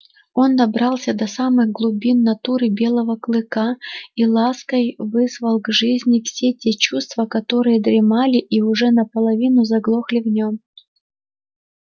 он добрался до самых глубин натуры белого клыка и лаской вызвал к жизни все те чувства которые дремали и уже наполовину заглохли в нём